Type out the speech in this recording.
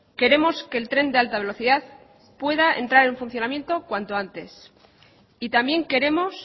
queremos que el tren de alta velocidad pueda entrar en funcionamiento cuanto antes y también queremos